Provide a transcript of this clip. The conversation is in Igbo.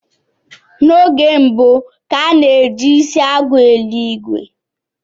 N'oge mbu, ka a na ji isi agụ eli ìgwè